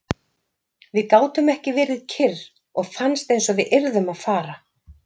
Við gátum ekki verið kyrr og fannst einsog við yrðum að fara.